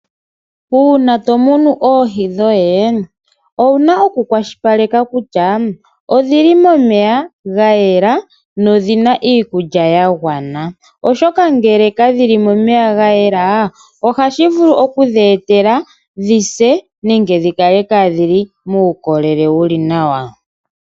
Uuna tomunu oohi dhoye owuna okukwashilipaleka kutya odhili momeya gayela dho odhina iikulya ya gwana oshoka uuna kadhili momeya gayela ohashi vuku okudhi etela dhi se nenge dhi kale kaadhina uukolele wuli nawa.